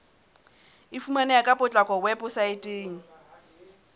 e fumaneha ka potlako weposaeteng